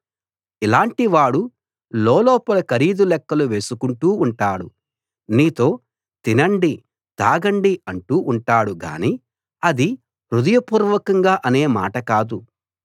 ఇలాంటి వాడు లోలోపల ఖరీదు లెక్కలు వేసుకుంటూ ఉంటాడు నీతో తినండి తాగండి అంటూ ఉంటాడు గానీ అది హృదయపూర్వకంగా అనే మాట కాదు